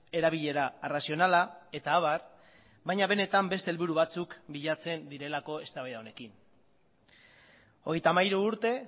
erabilera arrazionala eta abar baina benetan beste helburu batzuk bilatzen direlako eztabaida honekin hogeita hamairu urte